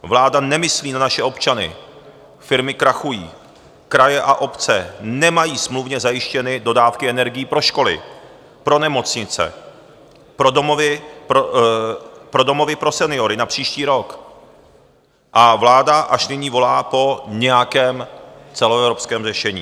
Vláda nemyslí na naše občany, firmy krachují, kraje a obce nemají smluvně zajištěny dodávky energií pro školy, pro nemocnice, pro domovy pro seniory na příští rok a vláda až nyní volá po nějakém celoevropském řešení.